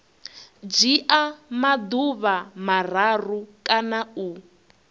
dzhia maḓuvha mararu kana u